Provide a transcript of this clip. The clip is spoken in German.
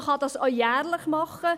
Man kann dies auch jährlich machen.